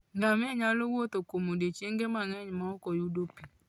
Ngamia nyalo wuotho kuom odiechienge mang'eny maok oyud pi.